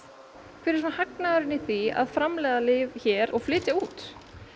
hver er hagnaðurinn af því að framleiða lyf hér og flytja út